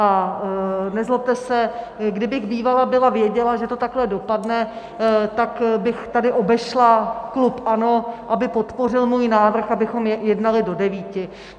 A nezlobte se, kdybych bývala byla věděla, že to takhle dopadne, tak bych tady obešla klub ANO, aby podpořil můj návrh, abychom jednali do devíti.